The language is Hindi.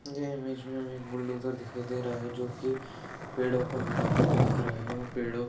ये इमेज में हमें एक बुल्डोजर दिखाई दे रहा है जो की पेड़ो को हटाते हुए दिख रहा है और पेड़ो--